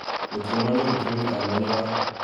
ngotko manyoru trenit alonye basit